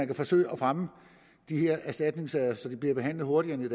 kan forsøge at fremme de her erstatningssager så de bliver behandlet hurtigere end i